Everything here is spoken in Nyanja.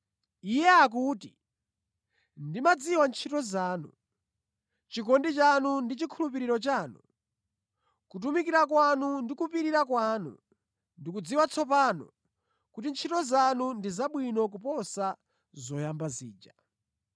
Iye akuti: Ndimadziwa ntchito zanu, chikondi chanu ndi chikhulupiriro chanu, kutumikira kwanu ndi kupirira kwanu. Ndikudziwa tsopano kuti ntchito zanu ndi zabwino kuposa zoyamba zija.